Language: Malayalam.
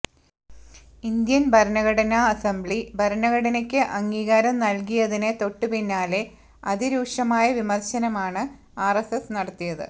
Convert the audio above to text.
ഇന്ത്യൻ ഭരണഘടനാ അസംബ്ലി ഭരണഘടനയ്ക്ക് അംഗീകാരം നൽകിയതിന് തൊട്ടുപിന്നാലെ അതിരൂക്ഷമായ വിമർശനമാണ് ആർഎസ്എസ് നടത്തിയത്